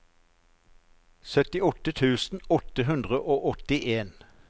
syttiåtte tusen åtte hundre og åttien